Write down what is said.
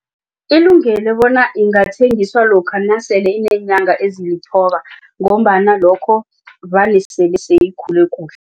Ilungelwe bona ingathengiswa lokha nasele ineenyanga esele zilithoba ngombana lokho vane sele seyikhule kuhle.